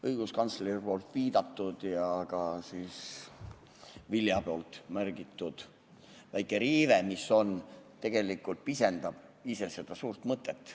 Õiguskantsleri viidatud ja ka Vilja märgitud väike riive tegelikult pisendab ise seda suurt mõtet.